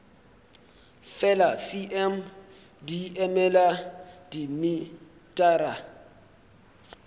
fela cm di emela dimetara